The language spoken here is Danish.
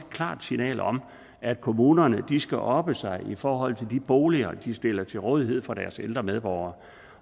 klart signal om at kommunerne skal oppe sig i forhold til de boliger de stiller til rådighed for deres ældre medborgere